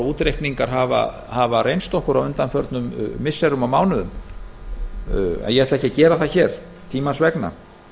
og útreikningar hafa reynst okkur á undanförnum missirum og mánuðum en ég ætla ekki að gera það hér tímans vegna ég